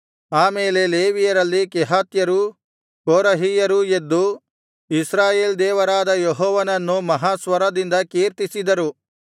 ಆಮೇಲೆ ಲೇವಿಯರಲ್ಲಿ ಕೆಹಾತ್ಯರೂ ಕೋರಹಿಯರೂ ಎದ್ದು ಇಸ್ರಾಯೇಲ್ ದೇವರಾದ ಯೆಹೋವನನ್ನು ಮಹಾಸ್ವರದಿಂದ ಕೀರ್ತಿಸಿದರು